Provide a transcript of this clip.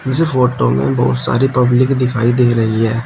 इस फोटो में बहुत सारी पब्लिक दिखाई दे रही है।